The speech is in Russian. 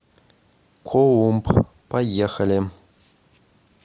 колумб поехали